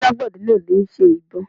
Àgbẹ̀dẹ náà ló ṣe ìbo